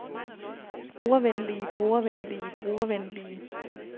brugervenlige brugervenlige brugervenlige